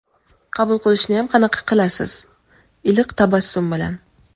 Qabul qilishniyam qanaqa qilasiz, "iliq tabassum bilan".